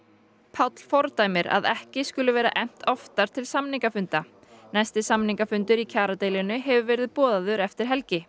Páll fordæmir að ekki skuli vera efnt oftar til samningafunda næsti samningafundur í kjaradeilunni hefur verið boðaður eftir helgi